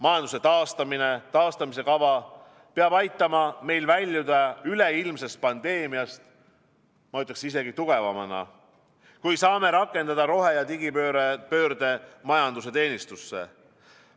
Majanduse taastamise kava peab aitama meil väljuda üleilmsest pandeemiast isegi tugevamana, kui saame rakendada rohe- ja digipöörde majanduse teenistusse.